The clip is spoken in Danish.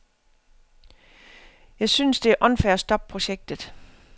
Jeg synes, det er unfair at stoppe projektet.